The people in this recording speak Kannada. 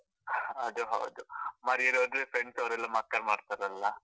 ಅದು ಹೌದು, ಮರ್ಯಾದೆ ಹೋದ್ರೆ friends ಅವರೆಲ್ಲ मक्कार ಮಾಡ್ತಾರಲ್ಲ?